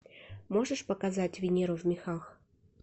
можешь показать венеру в мехах